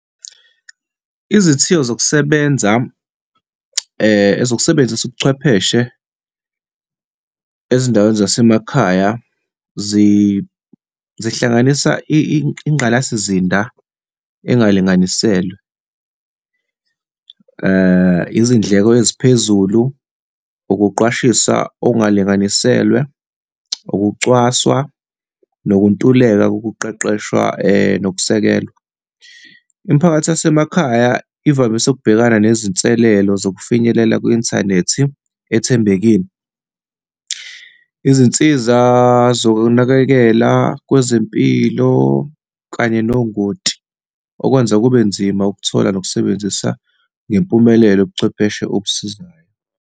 Izithiyo zokusebenza, zokusebenzisa ubuchwepheshe ezindaweni zasemakhaya zihlanganisa ingqalasizinda engalinganiselwe, izindleko eziphezulu, ukuqwashisa okungalinganiselwe, ukucwaswa, nokuntuleka nokuqeqeshwa nokusekelwa. Imiphakathi yasemakhaya ivamise ukubhekana nezinselelo zokufinyelela kwi-inthanethi ethembekile, izinsiza zokunakekela kwezempilo, kanye nongoti, okwenza kube nzima ukuthola nokusebenzisa ngempumelelo ubuchwepheshe obusizayo.